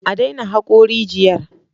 A daina hako rigiyar!